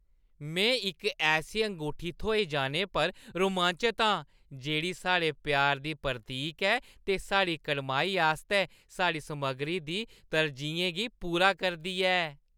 में इक ऐसी अंगूठी थ्होई जाने पर रोमांचत आं जेह्‌ड़ी साढ़े प्यार दी प्रतीक ऐ ते साढ़ी कड़माई आस्तै साढ़ी समग्गरी दी तरजीहें गी पूरा करदी ऐ।